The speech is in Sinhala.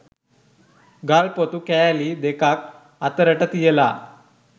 ගල් ‍පොතු කෑලි දෙකක් අතරට තියලා